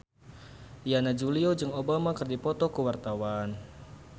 Yana Julio jeung Obama keur dipoto ku wartawan